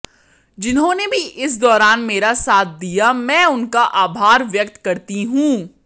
जिन्होंने भी इस दौरान मेरा साथ दिया मैं उनका आभार व्यक्त करती हूं